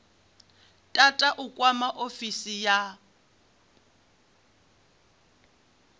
tata u kwama ofisi ya